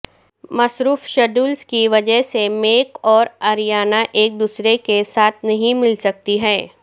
مصروف شیڈولز کی وجہ سے میک اور اریانا ایک دوسرے کے ساتھ نہیں ملسکتی ہیں